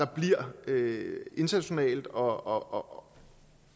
bliver internationalt og